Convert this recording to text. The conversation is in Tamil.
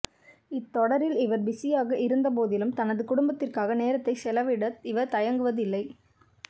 இத்தொடரில் இவர் பிஸியாக இருந்த போதிலும் தனது குடும்பத்திற்காக நேரத்தை செலவிட இவர் தயங்குவதில்லை